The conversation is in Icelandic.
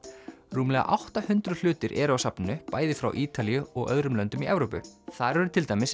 rúmlega átta hundruð hlutir eru á safninu bæði frá Ítalíu og öðrum löndum í Evrópu þar eru til dæmis